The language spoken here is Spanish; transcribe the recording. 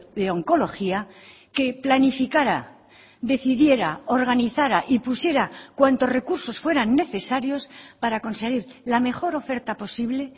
de oncología que planificara decidiera organizara y pusiera cuantos recursos fueran necesarios para conseguir la mejor oferta posible